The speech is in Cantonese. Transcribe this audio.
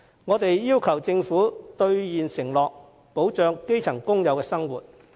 我們要求政府兌現承諾，保障基層工友的生活。